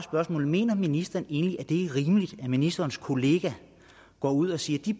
mener ministeren egentlig at det er rimeligt at ministerens kollega går ud og siger at de